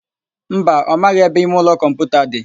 Mba, ọ maghị ebe imeụlọ kọmputa dị.